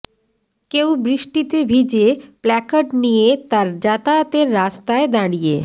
কেউ বৃষ্টিতে ভিজে প্ল্যাকার্ড নিয়ে তার যাতায়াতের রাস্তায় দাঁড়িয়ে